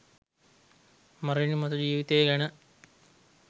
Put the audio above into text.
මරණින් මතු ජීවිතය ගැන